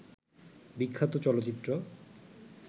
বিখ্যাত চলচ্চিত্র